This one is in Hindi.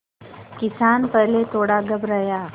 किसान पहले थोड़ा घबराया